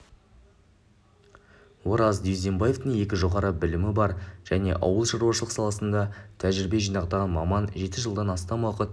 ораз дюздембаевтың екі жоғары білімі бар және ауылшаруашылық саласында тәжірибе жинақтаған маман жеті жылдан астам уақыт